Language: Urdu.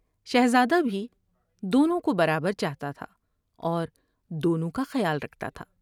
شہزادہ بھی دونوں کو برابر چاہتا تھا اور دونوں کا خیال رکھتا تھا ۔